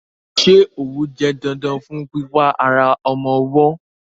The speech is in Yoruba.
Ṣé òwú jẹ́ dandan fún pípa ara ọmọ ọwọ́?